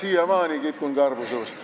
Ma siiamaani kitkun karvu suust.